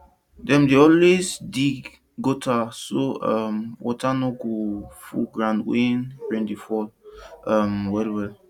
dem dey always dig gutter so um water no go full ground when rain dey fall um well well